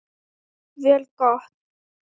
Jafnvel gott.